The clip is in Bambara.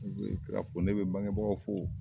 Ni ne ye Kira fo ne bɛ bange bagaw fo.